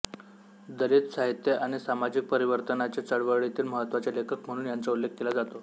दलित साहित्य आणि सामाजिक परिवर्तनाच्या चळवळीतील महत्त्वाचे लेखक म्हणून यांचा उल्लेख केला जातो